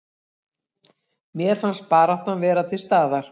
Mér fannst baráttan vera til staðar